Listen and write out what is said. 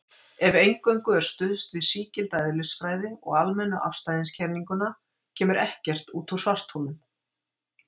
Ef eingöngu er stuðst við sígilda eðlisfræði og almennu afstæðiskenninguna kemur ekkert út úr svartholum.